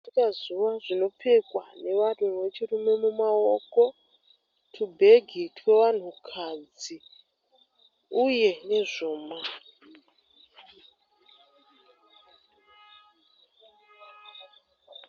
Zviringazuva zvinopfekwa nevanhu vechirume mumaoko. Tubhegi twevanhu kadzi uye nezvuma.